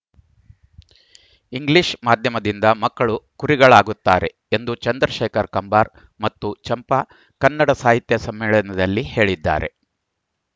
English ಮಾಧ್ಯಮದಿಂದ ಮಕ್ಕಳು ಕುರಿಗಳಾಗುತ್ತಾರೆ ಎಂದು ಚಂದ್ರಶೇಖರ್ ಕಂಬಾರ ಮತ್ತು ಚಂಪಾ ಕನ್ನಡ ಸಾಹಿತ್ಯ ಸಮ್ಮೇಳನದಲ್ಲಿ ಹೇಳಿದ್ದಾರೆ